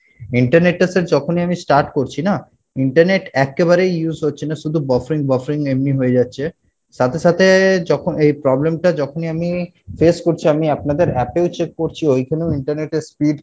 internet টা sir যখনই আমি start করছি না internet একেবারে use হচ্ছে না শুধু buffering buffering এমনি হয়ে যাচ্ছে সাথে সাথে যখন এই problem টা যখনই আমি face করছি আমি আপনাদের app এও check করছি ওইখানেও internet এর speed